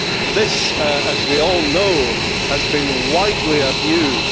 This, as we all know, has been widely abused.